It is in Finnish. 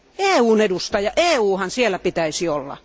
EUn edustaja, EUnhan siellä pitäisi olla!